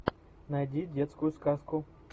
найди детскую сказку